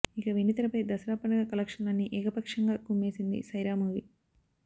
ఇక వెండి తెరపై దసరా పండగ కలేక్షన్లన్నీ ఏకపక్షంగా కుమ్మేసింది సైరా మూవీ